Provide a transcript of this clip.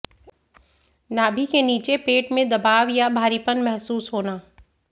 नाभि के नीचे पेट में दबाव या भारीपन महसूस होना